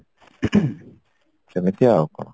ସେମିତି ଆଉ କଣ